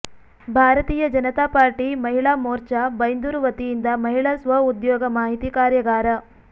ಭಾರತೀಯ ಜನತಾ ಪಾರ್ಟಿ ಮಹಿಳಾ ಮೋರ್ಚಾ ಬೈಂದೂರು ವತಿಯಿಂದ ಮಹಿಳಾ ಸ್ವ ಉದ್ಯೋಗ ಮಾಹಿತಿ ಕಾರ್ಯಾಗಾರ